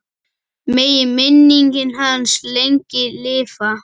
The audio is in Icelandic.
Megi minning hans lengi lifa.